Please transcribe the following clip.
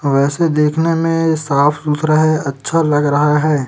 वैसे देखने में साफ सुथरा है अच्छा लग रहा है।